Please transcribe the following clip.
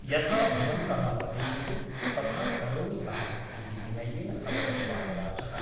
यथा भवन्तः वदेयुः तथा करोमि अहम् ' इति विनयेन अवदत् बालराजः ।